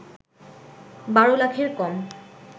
১২ লাখের কম